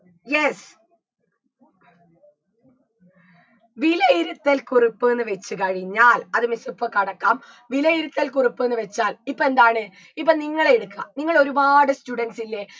yes വിലയിരുത്തൽ കുറിപ്പ്ന്ന് വെച്ച് കഴിഞ്ഞാൽ അത് miss ഇപ്പൊ കടക്കാം വിലയിരുത്തൽ കുറിപ്പ്ന്ന് വെച്ചാൽ ഇപ്പെന്താണ് ഇപ്പൊ നിങ്ങളെയെടുക്ക നിങ്ങൾ ഒരുപാട് students ഇല്ലേ